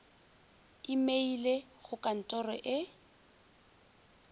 imeile go ka ntoro e